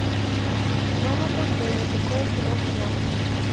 джонатан демме какое кино снял